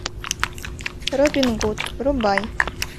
робин гуд врубай